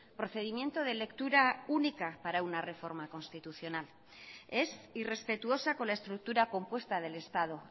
procedimiento de lectura única para una reforma constitucional es irrespetuosa con la estructura compuesta del estado